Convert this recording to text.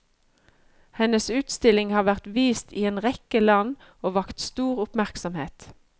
Hennes utstilling har vært vist i en rekke land og vakt stor oppmerksomhet.